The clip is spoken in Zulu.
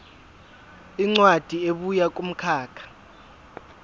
incwadi ebuya kumkhakha